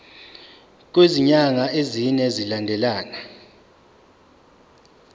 kwezinyanga ezine zilandelana